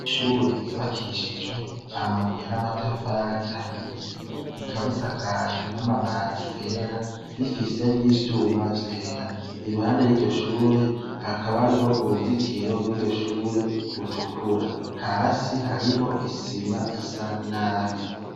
Ishure ryubakishijwe amabuye n'amatafari ahiye, rikaba risakajwe n'amabati yera, rifise n'ivyuma vyera. Iruhande yiryo shure hakaba hariho uruzitiro rwiryo shure rutukura. Hasi hariho isima isa nabi.